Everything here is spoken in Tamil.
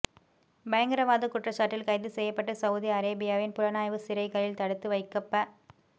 பயங்கரவாதக் குற்றச்சாட்டில் கைது செய்யப்பட்டு சவுதி அரேபியாவின் புலனாய்வு சிறைகளில் தடுத்து வைக்கப்ப